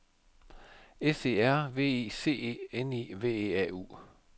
S E R V I C E N I V E A U